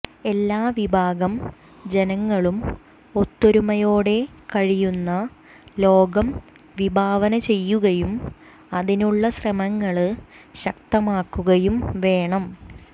എല്ലാ വിഭാഗം ജനങ്ങളും ഒത്തൊരുമയോടെ കഴിയുന്ന ലോകം വിഭാവന ചെയ്യുകയും അതിനുള്ള ശ്രമങ്ങള് ശക്തമാക്കുകയും വേണം